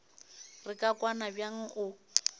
re ka kwana bjang o